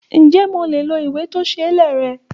Ǹjẹ́ mo lè lo ìwé tó ṣe é lẹ̀ rẹ?